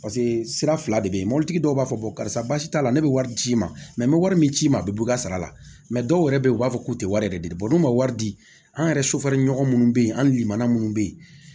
Paseke sira fila de bɛ ye mɔbilitigi dɔw b'a fɔ basi t'a la ne bɛ wari ci i ma n bɛ wari min ci i ma a bɛ bɔ i ka sara la mɛ dɔw yɛrɛ bɛ yen u b'a fɔ k'u tɛ wari yɛrɛ de di n'u ma wari di an yɛrɛ sofɛriɲɔgɔn minnu bɛ yen an limana minnu bɛ yen